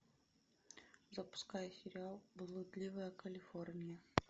запускай сериал блудливая калифорния